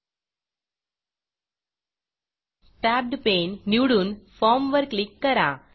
tabbed Paneटेब्ब्ड पेननिवडून form फॉर्मवर क्लिक करा